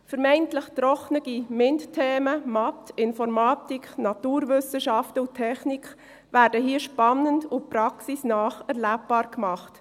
Vermeintlich trockene MINT-Themen – Mathe, Informatik, Naturwissenschaften und Technik – werden hier spannend und praxisnah erlebbar gemacht.